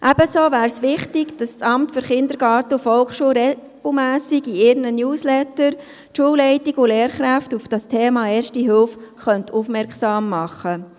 Weiter wäre es wichtig, dass das Amt für Kindergarten und Volksschule regelmässig in dessen Newsletter die Schulleitungen und Lehrkräfte auf das Thema Erste Hilfe aufmerksam macht.